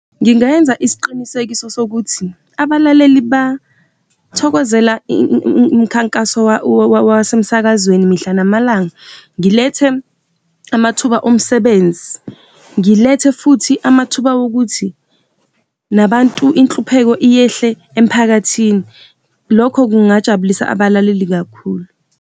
Ngingayenza isiqinisekiso sokuthi abalaleli bathokozela umkhankaso wasemsakazweni mihla namalanga. Ngilethe amathuba omsebenzi, ngilethe futhi amathuba wokuthi nabantu, inhlupheko iyehle emphakathini. Lokho kungajabulisa abalaleli kakhulu.